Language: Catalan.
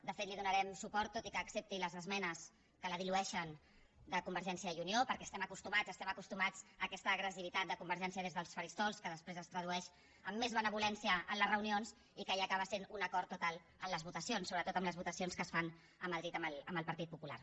de fet li donarem suport tot i que accepti les esmenes que la dilueixen de convergència i unió perquè estem acostumats estem acostumats a aquesta agressivitat de convergència des dels faristols que després es tradueix en més benevolència en les reunions i que ja acaba sent un acord total en les votacions sobretot en les votacions que es fan a madrid amb el partit popular